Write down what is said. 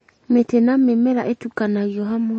mĩtĩ na mĩmera ĩtukanagio hamwe